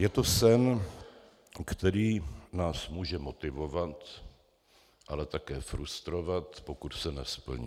Je to sen, který nás může motivovat, ale také frustrovat, pokud se nesplní.